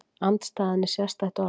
Andstæðan er sérstætt orð.